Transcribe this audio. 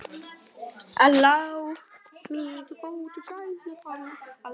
Stattu, kýrin Kolla!